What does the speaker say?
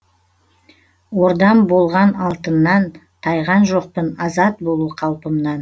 ордам болған алтыннан тайған жоқпын азат болу қалпымнан